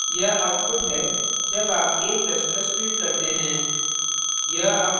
यह output है जब आप a ++ print करते हैं